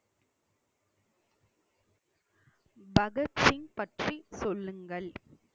பகத்சிங் பற்றி சொல்லுங்கள்